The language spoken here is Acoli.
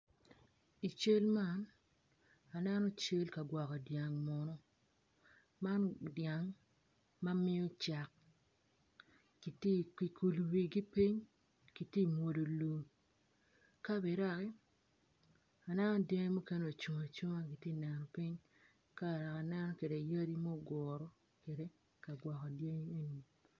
I cal man aneno cal ka gwoko dyang munu man dyang ma miyo cak gikulu wigi piny gitye ka mwodo lum ka bene dok aneno dyangi mukene ocung acunga gitye kaneno piny kadok aneno kede yadi muguru kagwoko dyangi engi